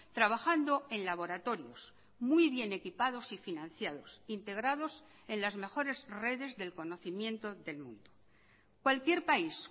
trabajando en laboratorios muy bien equipados y financiados integrados en las mejores redes del conocimiento del mundo cualquier país